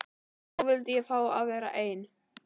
En nú vildi ég fá að vera einn.